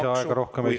Lisaaega rohkem ei saa.